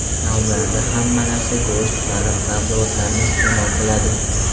Taomlardan hamma narsa go‘sht, baliq, sabzavotlarni iste’mol qiladi.